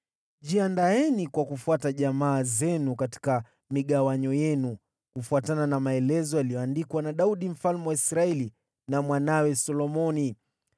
Jiandaeni kwa kufuata jamaa zenu katika migawanyo yenu, kufuatana na maelezo yaliyoandikwa na Daudi mfalme wa Israeli na mwanawe Solomoni.